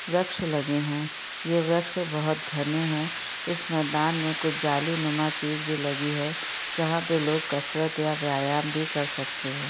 वृक्ष लगे हैं ये वृक्ष बहुत घने हैं इस मैदान में कुछ जाली नुमा चीज भी लगी है जहाँ पे लोग कसरत या व्यायाम भी कर सकते हैं।